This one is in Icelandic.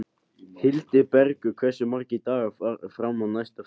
Hildibergur, hversu margir dagar fram að næsta fríi?